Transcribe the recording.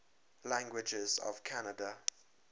languages of canada